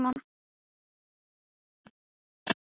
Bubbi, áttu tyggjó?